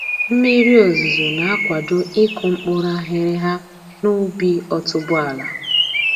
Mmiri ozuzu na-akwado ịkụ mkpụrụ aghịrịgha n'ubi otuboala